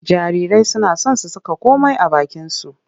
Jarirai suna son su saka komai a bakinsu.